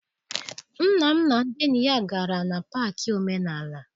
Nna m na ndị enyi ya gara na paakị omenala.